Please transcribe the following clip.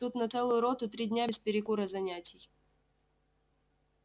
тут на целую роту три дня без перекура занятий